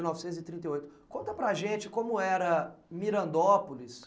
mil novecentos e trinta e oito. Conta para a gente como era Mirandópolis.